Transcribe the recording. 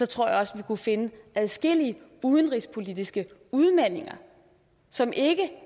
tror jeg også vi kunne finde adskillige udenrigspolitiske udmeldinger som ikke